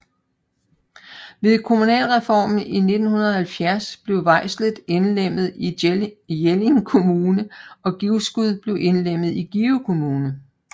Ved kommunalreformen i 1970 blev Hvejsel indlemmet i Jelling Kommune og Givskud blev indlemmet i Give Kommune